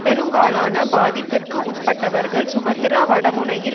பெரும்பாலான பாதிப்பிற்குஉட்பட்டவர்கள் சுமத்ரா வடமுனையில்